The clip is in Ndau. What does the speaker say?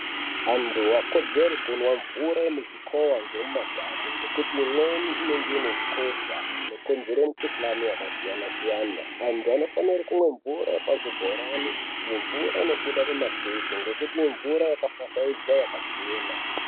Antu havakodzeri kumwa mvura yemuzvikova yemumadhamu nekuti imweni inemge ine hukosha hunokonzera mukuhlani yakasiyana siyana antu anofanirwa kunwa mvura yepa zvibhorani neimobuda mumatepi nekuti imvura yakafashaidzwa yakachena.